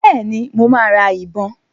Bẹ́ẹ̀ni, mo máa ra ìbọn.